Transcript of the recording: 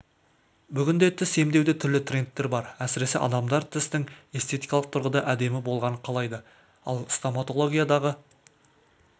бүгінде тіс емдеуде түрлі трендтер бар әсіресе адамдар тістің эстетикалық тұрғыда әдемі болғанын қалайды ал стоматологиядағы